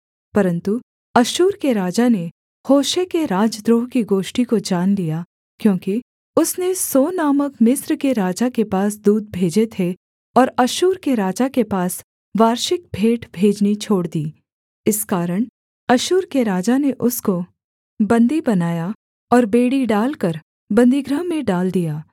परन्तु अश्शूर के राजा ने होशे के राजद्रोह की गोष्ठी को जान लिया क्योंकि उसने सो नामक मिस्र के राजा के पास दूत भेजे थे और अश्शूर के राजा के पास वार्षिक भेंट भेजनी छोड़ दी इस कारण अश्शूर के राजा ने उसको बन्दी बनाया और बेड़ी डालकर बन्दीगृह में डाल दिया